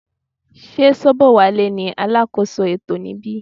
Sé Sobowale ní alákóso ètò níbí.